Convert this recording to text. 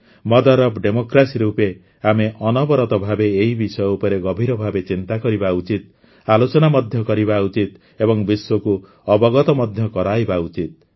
mother of democracy ରୂପେ ଆମେ ଅନବରତ ଭାବେ ଏହି ବିଷୟ ଉପରେ ଗଭୀର ଭାବେ ଚିନ୍ତା କରିବା ଉଚିତ ଆଲୋଚନା ମଧ୍ୟ କରିବା ଉଚିତ ଏବଂ ବିଶ୍ୱକୁ ଅବଗତ ମଧ୍ୟ କରାଇବା ଉଚିତ